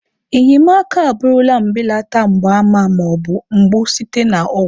Enyemaka abụrụla mbelata mgbaàmà ma ọ bụ mgbu site na ọgwụ.